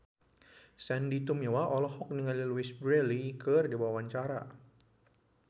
Sandy Tumiwa olohok ningali Louise Brealey keur diwawancara